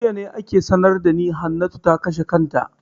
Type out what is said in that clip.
Jiya ne ake sanar da ni Hannatu ta kashe kanta.